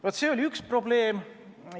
Vaat, see oli üks probleem.